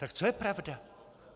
Tak co je pravda?